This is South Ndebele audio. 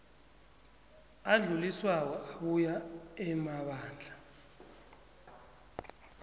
adluliswako abuya emabandla